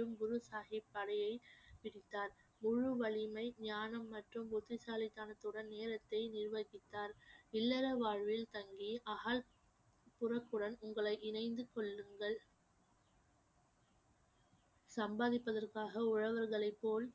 சம்பாதிப்பதற்காக உழவர்களைப் போல்